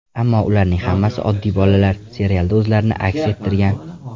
Ammo ularning hammasi oddiy bolalar, serialda o‘zlarini aks ettirgan.